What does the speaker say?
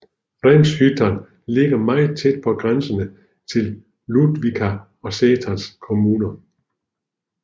Rämshyttan ligger meget tæt på grænserne til Ludvika og Säters kommuner